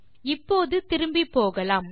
இப்போது திரும்பிப்போகலாம்